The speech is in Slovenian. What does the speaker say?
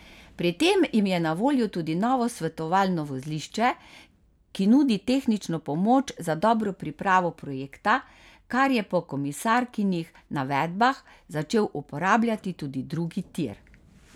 Pri tem jim je na voljo tudi novo svetovalno vozlišče, ki nudi tehnično pomoč za dobro pripravo projekta, kar je po komisarkinih navedbah začel uporabljati tudi drugi tir.